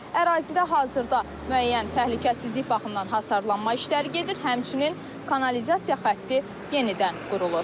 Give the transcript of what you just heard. Ərazidə hazırda müəyyən təhlükəsizlik baxımından hasarlanma işləri gedir, həmçinin kanalizasiya xətti yenidən qurulur.